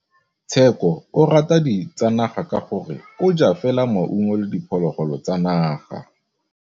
Tshekô o rata ditsanaga ka gore o ja fela maungo le diphologolo tsa naga.